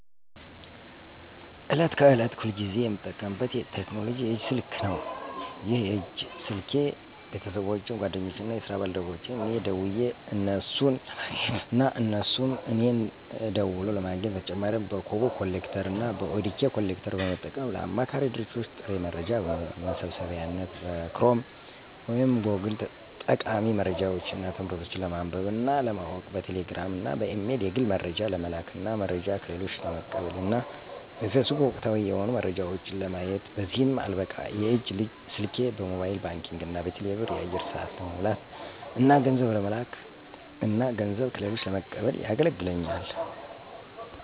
ዕለት ከዕለት ሁልጊዜ የምጠቀምበት ቴክኖሎጂ የእጅ ስልክ ነው። ይህ የእጅ ስልኬ ቤተሰቦቼን፣ ጓደኞቼን እና የስራ ባልደረቦቼን እኔ ደውየ እነሱን ለማግኘት እና እነሱም እኔን ደውለው ለማግኘት። በተጨማሪ በኮቦ ኮሌክተር እና በኦዲኬ ኮሌክተር በመጠቀም ለአማካሪ ድርጅቶች ጥሬ መረጃ መሰብሰቢያነት፣ በክሮም ወይም ጎግል ጠቃሚ መረጃዎች እና ትምህርቶች ለማንበብ እና ለማወቅ፣ በቴሌ ግራም እና በኢሜል የግል መረጃ ለመላክ እና መረጃ ከሌሎች ለመቀበል እና በፌስቡክ ወቅታዊ የሆኑ መረጃዎች ለማየት። በዚህም አልበቃ የእጅ ስልኬ በሞባይል ባንኪንግ እና በቴሌ ብር የአየር ሰአት ለመሙላት እና ገንዘብ ለመለክ እና ገንዘብ ከሌሎች ለመቀበል የገለግለኛል።